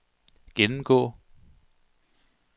gennemgå